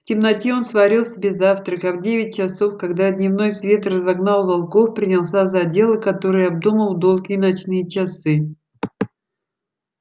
в темноте он сварил себе завтрак а в девять часов когда дневной свет разогнал волков принялся за дело которое обдумал в долгие ночные часы